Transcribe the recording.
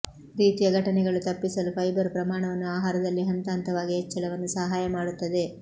ರೀತಿಯ ಘಟನೆಗಳು ತಪ್ಪಿಸಲು ಫೈಬರ್ ಪ್ರಮಾಣವನ್ನು ಆಹಾರದಲ್ಲಿ ಹಂತಹಂತವಾಗಿ ಹೆಚ್ಚಳವನ್ನು ಸಹಾಯ ಮಾಡುತ್ತದೆ